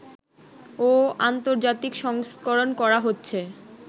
ও আন্তর্জাতিক সংস্করণ করা হচ্ছে